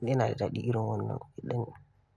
yana da daɗi irin wannan gidan.